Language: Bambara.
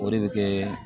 O de bɛ kɛ